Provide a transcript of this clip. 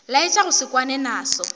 laetša go se kwane naso